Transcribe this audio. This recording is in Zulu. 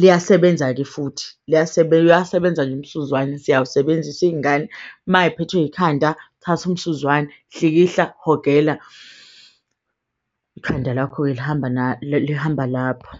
liyasebenza-ke futhi liyasebenza, uyasebenza nje umsuzwane siyakusebenzisa iyingane mayiphethwe yikhanda, thatha umsuzwane hlikihla hogela ikhanda lakho-ke lihamba lapho.